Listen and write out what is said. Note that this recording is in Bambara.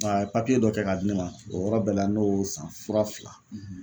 A ye papiye dɔ kɛ k'a di ne ma o yɔrɔ bɛɛ la ne y'o san, fura fila